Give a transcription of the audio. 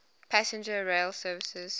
passenger rail services